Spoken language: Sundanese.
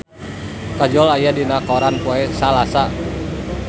Kajol aya dina koran poe Salasa